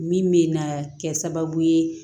Min bɛ na kɛ sababu ye